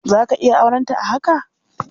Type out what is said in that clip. Za ka iya aurenta a haka?